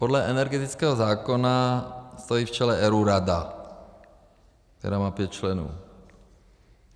Podle energetického zákona stojí v čele ERÚ rada, která má pět členů.